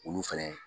Olu fɛnɛ